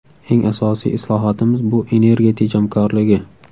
Eng asosiy islohotimiz bu energiya tejamkorligi.